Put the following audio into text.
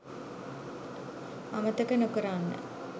අමතක නොකරන්න